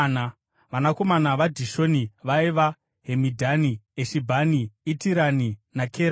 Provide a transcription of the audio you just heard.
Vanakomana vaDhishoni vaiva: Hemidhani, Eshibhani, Itirani naKerani.